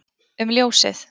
um ljósið